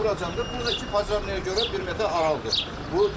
Buradır, bunu da iki pajarnıya görə bir metr aralıdır bu dükan.